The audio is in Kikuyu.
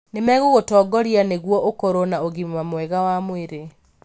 Nĩmegũgũtongoria nĩguo ũkorũo na ũgima mwega wa mwĩrĩ.